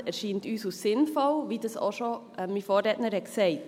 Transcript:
40 Prozent erscheinen uns sinnvoll, wie das auch schon mein Vorredner sagte.